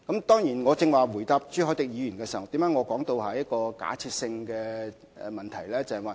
當然，我剛才回答朱凱廸議員時，為何會說這是假設性問題？